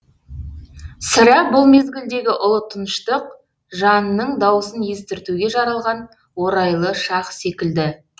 сірә бұл мезгілдегі ұлы тыныштық жанның даусын естіртуге жаралған орайлы шақ секілді